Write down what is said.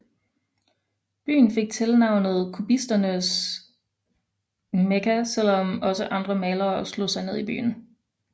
Byen fik tilnavnet Kubisternes Mekka selvom også andre malere slog sig ned i byen